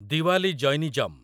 Diwali Jainism